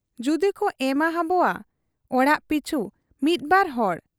ᱡᱩᱫᱤᱠᱚ ᱮᱢᱟ ᱦᱟᱵᱚᱣᱟ ᱚᱲᱟᱜ ᱯᱤᱪᱷ ᱢᱤᱫᱵᱟᱨ ᱦᱚᱲ ᱾